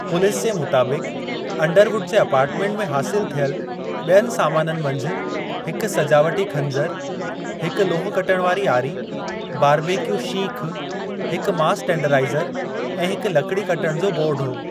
Police जे मुताबिक़ Underwood जे अपार्टमेंट में हासलु थियलु ॿियनि सामाननि मंझि हिक सजावटी खंजरु, हिक लोह कटणु वारी आरी, बारबेक्यू शीख, हिक मांस टेंडराइज़रु ऐं हिक लकड़ी कटण जो बोर्डु हो।